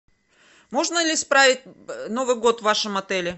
можно ли справить новый год в вашем отеле